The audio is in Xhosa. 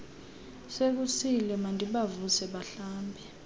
sekusile mandibavuse bahlambe